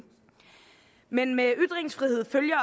men med ytringsfrihed følger